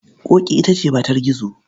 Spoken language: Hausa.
Ƙoƙi ita ce matar Gizo.